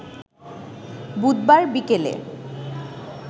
বুধবার বিকেলে